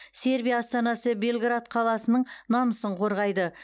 сербия астанасы белград қаласының намысын қорғайды